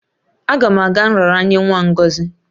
Aga m aga nraranye nwa Ngozi